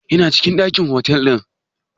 Ya na cikin ɗakin otal ɗin?